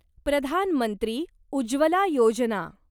Pradhan Mantri Ujjwala Yojana